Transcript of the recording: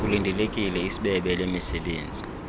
kulindelekile isbebe lemisebenzi